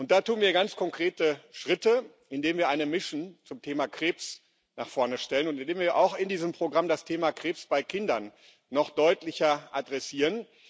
Da tun wir ganz konkrete Schritte, indem wir eine mission zum Thema Krebs nach vorne stellen und indem wir auch in diesem Programm das Thema Krebs bei Kindern noch deutlicher adressieren.